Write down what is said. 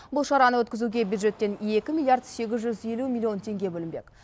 бұл шараны өткізуге бюджеттен екі миллиард сегіз жүз елу миллион теңге бөлінбек